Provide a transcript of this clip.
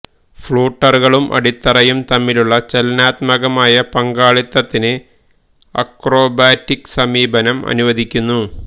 ഫ്ലൂട്ടറുകളും അടിത്തറയും തമ്മിലുള്ള ചലനാത്മകമായ പങ്കാളിത്തത്തിന് അക്രോബാറ്റിക് സമീപനം അനുവദിക്കുന്നു